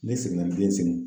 Ne siginna den